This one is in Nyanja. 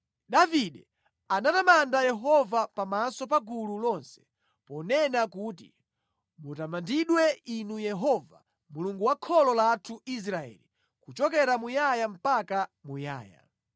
Davide anatamanda Yehova pamaso pa gulu lonse, ponena kuti, “Mutamandidwe Inu Yehova Mulungu wa kholo lathu Israeli kuchokera muyaya mpaka muyaya.